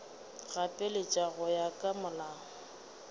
gapeletša go ya ka molao